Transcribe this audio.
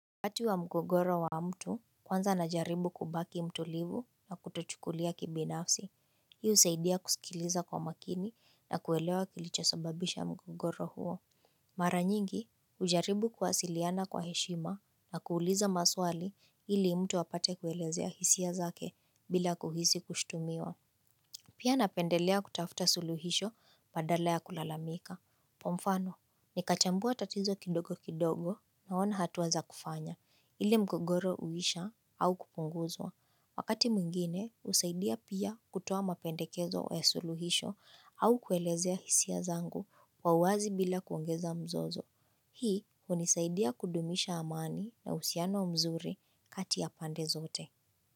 Wakati wa mgogoro wa mtu kwanza najaribu kubaki mtulivu na kutochukulia kibinafsi. Hii husaidia kusikiliza kwa makini na kuelewa kilichosobabisha mgogoro huo. Mara nyingi, ujaribu kuwasiliana kwa heshima na kuuliza maswali ili mtu apate kuelezea hisia zake bila kuhisi kushtumiwa. Pia napendelea kutafuta suluhisho badale ya kulalamika. Kwa mfano, nikachambua tatizo kidogo kidogo naona hatua za kufanya. Ile mgogoro huisha au kupunguzwa. Wakati mwingine, husaidia pia kutoa mapendekezo ya suluhisho au kuelezea hisia zangu kwa uwazi bila kuongeza mzozo. Hii, hunisaidia kudumisha amani na uhusiano mzuri kati ya pande zote.